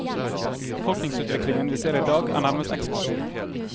Befolkningsutviklingen vi ser i dag er nærmest eksplosiv.